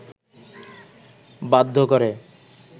বাধ্য করে